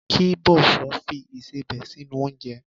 Kí Bosun fi ìsebẹ̀ sínú oúnjẹ.